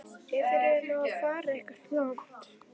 Ef þeir eru nú að fara eitthvað langt.